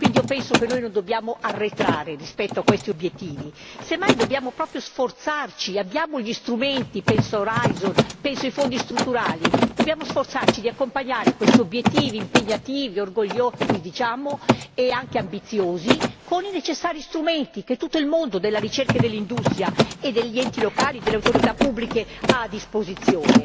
Quindi io penso che non dobbiamo arretrare rispetto a questi obiettivi, semmai dobbiamo proprio sforzarci, abbiamo gli strumenti penso a Horizon, penso ai fondi strutturali dobbiamo sforzarci di accompagnare questi obiettivi impegnativi, orgogliosi, diciamo, e anche ambiziosi, con i necessari strumenti che tutto il mondo della ricerca e dell'industria e degli enti locali, delle autorità pubbliche ha a disposizione.